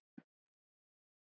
Saman áttu þau eina dóttur.